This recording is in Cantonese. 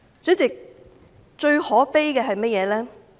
主席，最可悲的是甚麼呢？